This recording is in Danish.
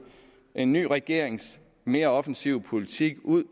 en ny regerings mere offensive politik ud